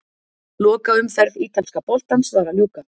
Lokaumferð ítalska boltans var að ljúka.